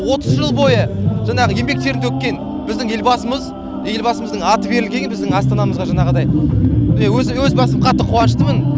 отыз жыл бойы жаңағы еңбек терін төккен біздің елбасымыз елбасымыздың аты берілгеніне біздің астанамызға жаңағыдай міне өз өз басым қатты қуаныштымын